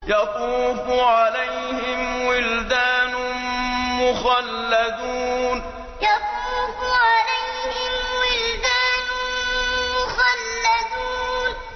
يَطُوفُ عَلَيْهِمْ وِلْدَانٌ مُّخَلَّدُونَ يَطُوفُ عَلَيْهِمْ وِلْدَانٌ مُّخَلَّدُونَ